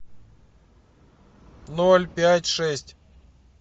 ноль пять шесть